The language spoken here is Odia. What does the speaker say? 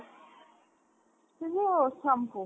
ଯୋଉ shampoo